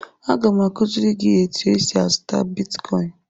Aga m akụziri gị etu esi azụta bitkọin.